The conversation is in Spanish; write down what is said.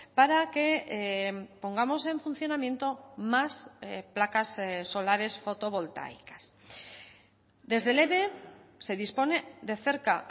para que pongamos en funcionamiento más placas solares fotovoltaicas desde el eve se dispone de cerca